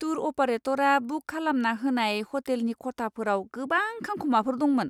Tour अपारेटरा book खालामना होनाय ह'टेलनि खथाफोराव गोबां खांखमाफोर दंमोन!